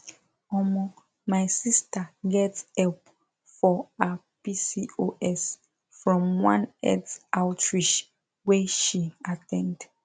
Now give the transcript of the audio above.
omo my sister get help for her pcos from one health outreach wey she at ten d